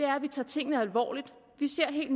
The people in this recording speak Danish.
er at vi tager tingene alvorligt vi ser helt